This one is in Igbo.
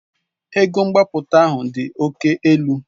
Ego mgbapụta ahụ dị oke elu.